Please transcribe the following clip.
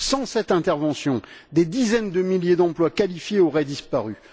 Sans cette intervention, des dizaines de milliers d'emplois qualifiés auraient disparu.